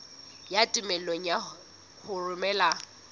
ya tumello ya ho romela